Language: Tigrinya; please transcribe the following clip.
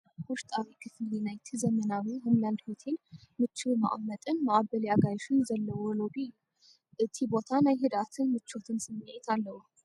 ውሽጣዊ ክፍሊ ናይቲ ዘመናዊ 'ሆም ላንድ ሆቴል' ምቹው መቐመጢን መቐበሊ ኣጋይሽን ዘለዎ ሎቢ እዩ። እቲ ቦታ ናይ ህድኣትን ምቾትን ስምዒት ኣለዎ።